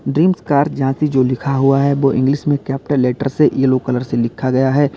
Dreams car Jhansi जो लिखा हुआ है वो इंग्लिश में कैपिटल लेटर से येलो कलर से लिखा गया है।